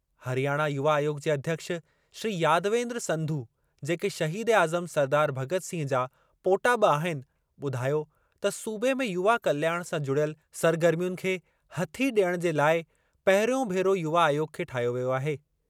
हरियाणा युवा आयोग जे अध्यक्ष श्री यादवेन्द्र संधु जेके शहीद ए आज़म सरदार भग॒त सिंह जा पोटा बि आहिनि, ॿुधायो त सूबे में युवा कल्याण सां जुड़ियल सरगर्मियुनि खे हथी डि॒यणु जे लाइ पहिरियों भेरो युवा आयोग खे ठाहियो वियो आहे।